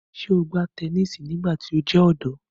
Ṣe o gba tẹnisi nigbati o jẹ ọdọ?